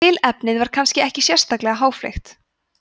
tilefnið var kannski ekki sérlega háfleygt